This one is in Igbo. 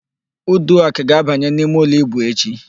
Uduak ga-abanye n'imeụlọ íbù echi.